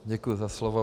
Děkuji za slovo.